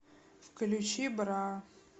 включи бра